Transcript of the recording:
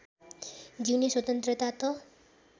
जिउने स्वतन्त्रता त